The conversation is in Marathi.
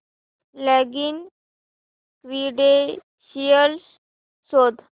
लॉगिन क्रीडेंशीयल्स शोध